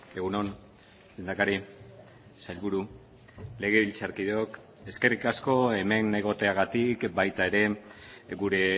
egun on lehendakari sailburu legebiltzarkideok eskerrik asko hemen egoteagatik baita ere gure